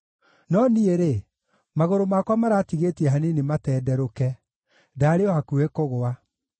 No niĩ-rĩ, magũrũ makwa maratigĩtie hanini matenderũke; ndaarĩ o hakuhĩ kũgũa.